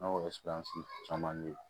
An o caman bɛ yen